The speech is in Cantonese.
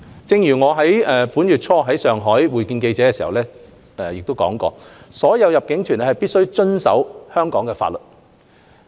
正如我本月初在上海會見記者時指出，所有入境團皆必須遵守香港法律。